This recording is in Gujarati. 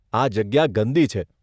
આ જગ્યા ગંદી છે.